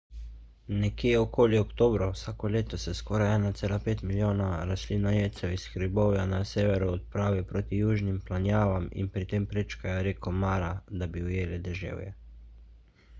nekje okoli oktobra vsako leto se skoraj 1,5 milijona rastlinojedcev iz hribovja na severu odpravi proti južnim planjavam in pri tem prečkajo reko mara da bi ujeli deževje